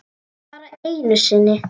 Bara einu sinni?